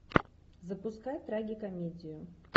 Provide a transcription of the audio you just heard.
запускай трагикомедию